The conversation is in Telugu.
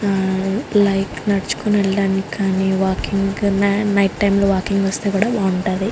లైక్ నడుచుకుని వెళ్ళడానికి కానీ వాకింగ్ నైట్ టైం లో వాకింగ్ వస్తే కూడా బాగుంటది.